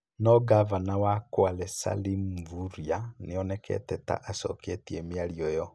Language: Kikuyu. No ngabana wa Kwale Salim Mvurya nĩ onekanĩte ta acoketie mĩario ĩo.